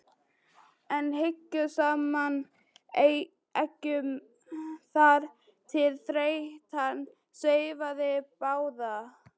en hjuggu saman eggjum þar til þreytan svæfði báða.